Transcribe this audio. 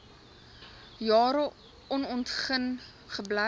jare onontgin gebly